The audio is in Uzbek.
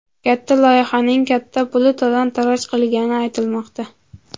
Katta loyihaning katta puli talon-toroj qilingani aytilmoqda .